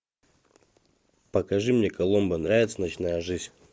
покажи мне коломбо нравится ночная жизнь